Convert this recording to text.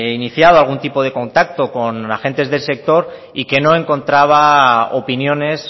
iniciado algún tipo de contacto con agentes del sector y que no encontraba opiniones